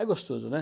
É gostoso, né?